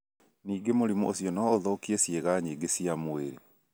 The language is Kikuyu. Ningĩ mũrimũ ũcio no ũthũkie ciĩga nyingĩ cia mwĩrĩ.